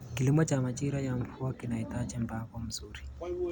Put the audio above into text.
Kilimo cha majira ya mvua kinahitaji mpango mzuri.